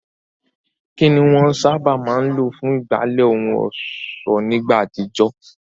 Kín ni wọ́n sábà máa ń lò fún ìgbálẹ̀ ohun ọ̀ṣọ́ nígbà àtijọ́?